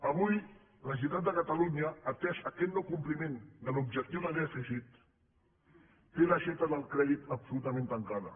avui la generalitat de catalunya atès aquest no compliment de l’objectiu de dèficit té l’aixeta del crèdit absolutament tancada